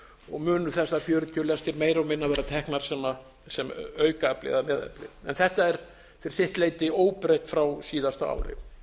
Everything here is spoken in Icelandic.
og munu þessar fjörutíu lestir meira og minna vera teknar sem aukaafli eða meðafli þetta er fyrir sitt leyti óbreytt frá síðasta